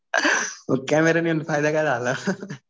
Camera नेऊन फायदा काय झाला?